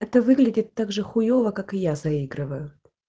это выглядит также хуёво как и я заигрываю